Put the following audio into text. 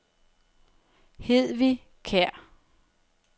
Hedvig Kjer